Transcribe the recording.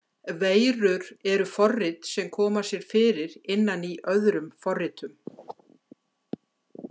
Veirur eru forrit sem koma sér fyrir innan í öðrum forritum.